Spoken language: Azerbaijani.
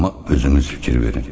Amma özünüz fikir verin.